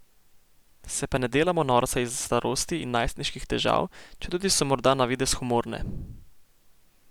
Se pa ne delamo norca iz starosti ali najstniških težav, četudi so morda na videz humorne.